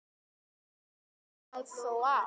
Hann lifir það þó af.